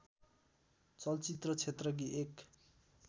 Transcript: चलचित्र क्षेत्रकी एक